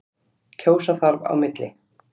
Kjósa þarf á milli.